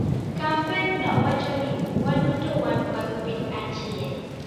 Kampenno wacho ni: "waduto wan mag piny achiel".